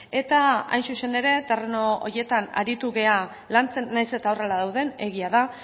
eta hain zuzen ere terreno horietan aritu gara lantzen nahiz eta horrela dauden egia da